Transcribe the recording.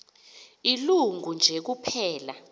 ilungu nje kuphela